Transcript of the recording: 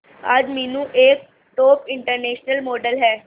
आज मीनू एक top international model है